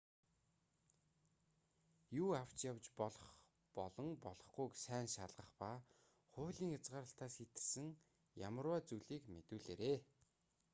юу авч явж болох болон болохгүйг сайн шалгах ба хуулийн хязгаарлалтаас хэтэрсэн ямарваа зүйлийг мэдүүлээрэй